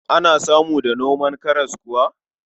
Ana samu da noman karas kuwa?